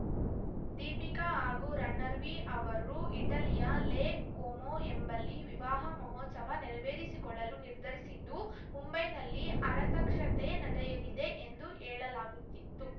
ದೀಪಿಕಾ ಹಾಗೂ ರಣರ್ವೀ ಅವರು ಇಟಲಿಯ ಲೇಕ್‌ ಕೊಮೊ ಎಂಬಲ್ಲಿ ವಿವಾಹ ಮಹೋತ್ಸವ ನೆರವೇರಿಸಿಕೊಳ್ಳಲು ನಿರ್ಧರಿಸಿದ್ದು ಮುಂಬೈನಲ್ಲಿ ಆರತಕ್ಷತೆ ನಡೆಯಲಿದೆ ಎಂದು ಹೇಳಲಾಗುತ್ತಿತ್ತು